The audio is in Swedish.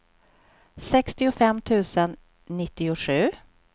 sextiofem tusen nittiosju